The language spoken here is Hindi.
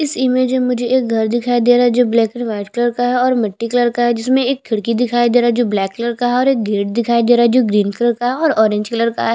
इस इमेज मुझे एक घर दिखाई दे रहा है जो ब्लैक और वाइट कलर का है और मिटटी कलर का है जिसमे एक खिड़की दिखाई दे रहा है जो ब्लैक कलर का है और एक गेट दिखाई दे रहा है जो ग्रीन कलर का है और ऑरेंज कलर का है।